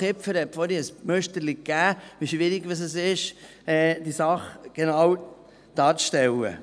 Kipfer hat uns vorher ein Müsterchen davon gegeben, wie schwierig es ist, die Sache genau darzustellen.